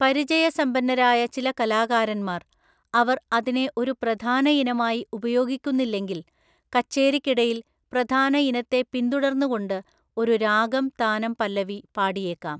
പരിചയസമ്പന്നരായ ചില കലാകാരന്മാർ, അവർ അതിനെ ഒരു പ്രധാനഇനമായി ഉപയോഗിക്കുന്നില്ലെങ്കിൽ, കച്ചേരിക്കിടയിൽ പ്രധാന ഇനത്തെ പിന്തുടർന്നുകൊണ്ട് ഒരു രാഗംതാനംപല്ലവി പാടിയേക്കാം.